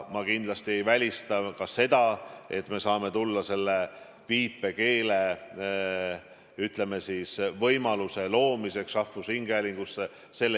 Ma kindlasti ei välista ka seda, et me saame tulla tagasi võimaluse juurde viipekeele kasutamiseks rahvusringhäälingus.